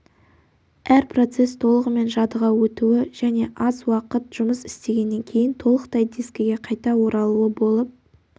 әр процесс толығымен жадыға өтуі және аз уақыт жұмыс істегеннен кейін толықтай дискіге қайта оралуы болып